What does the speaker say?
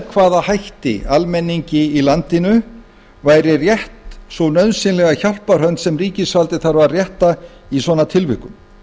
hvaða hætti almenningi í landinu væri rétt svo nauðsynlega hjálparhönd sem ríkisvaldið þarf að rétta í svona tilvikum